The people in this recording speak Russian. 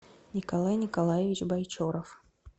николай николаевич байчоров